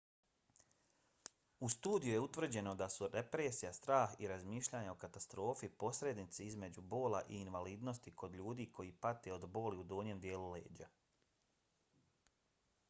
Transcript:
u studiji je utvrđeno da su depresija strah i razmišljanje o katastrofi posrednici između bola i invalidnosti kod ljudi koje pate od boli u donjem dijelu leđa